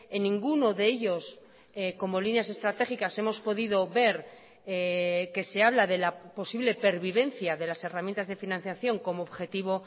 en ninguno de ellos como líneas estratégicas hemos podido ver que se habla de la posible pervivencia de las herramientas de financiación como objetivo